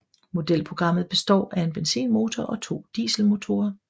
Modelprogrammet består af en benzinmotor og to dieselmotorer